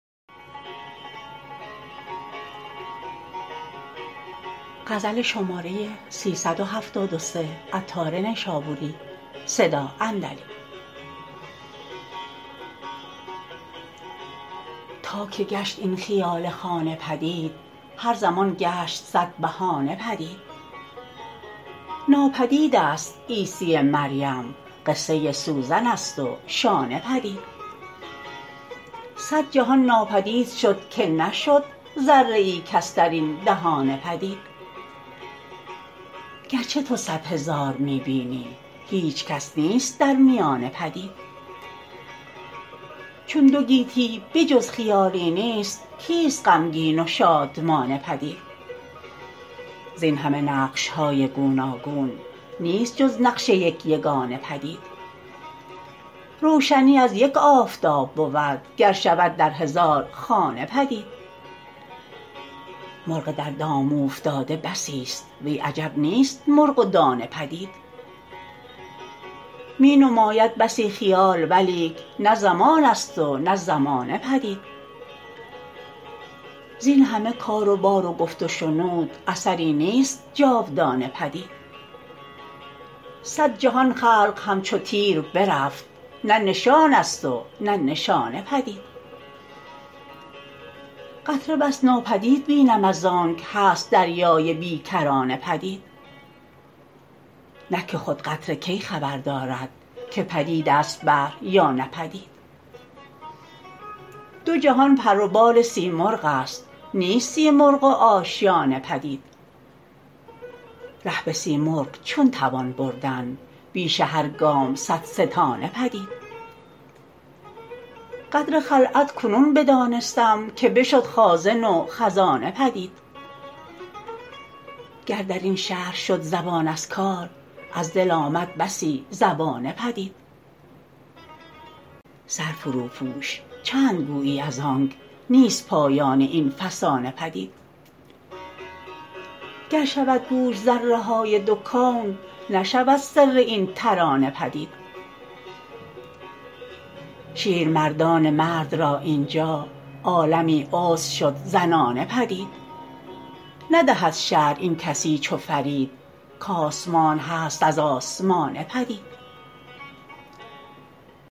تا که گشت این خیال خانه پدید هر زمان گشت صد بهانه پدید ناپدید است عیسی مریم قصه سوزن است و شانه پدید صد جهان ناپدید شد که نشد ذره ای کس درین دهانه پدید گرچه تو صد هزار می بینی هیچکس نیست در میانه پدید چون دو گیتی به جز خیالی نیست کیست غمگین و شادمانه پدید زین همه نقش های گوناگون نیست جز نقش یک یگانه پدید روشنی از یک آفتاب بود گر شود در هزار خانه پدید مرغ در دام اوفتاده بسی است وی عجب نیست مرغ و دانه پدید می نماید بسی خیال ولیک نه زمان است و نه زمانه پدید زین همه کار و بار و گفت و شنود اثری نیست جاودانه پدید صد جهان خلق همچو تیر برفت نه نشان است و نه نشانه پدید قطره بس ناپدید بینم از آنک هست دریای بی کرانه پدید نه که خود قطره کی خبر دارد که پدید است بحر یا نه پدید دو جهان پر و بال سیمرغ است نیست سیمرغ و آشیانه پدید ره به سیمرغ چون توان بردن بیش هر گام صد ستانه پدید قدر خلعت کنون بدانستم که بشد خازن و خزانه پدید گر درین شرح شد زبان از کار از دل آمد بسی زبانه پدید سر فروپوش چند گویی از آنک نیست پایان این فسانه پدید گر شود گوش ذره های دو کون نشود سر این ترانه پدید شیرمردان مرد را اینجا عالمی عذر شد زنانه پدید ندهد شرح این کسی چو فرید کاسمان هست از آسمانه پدید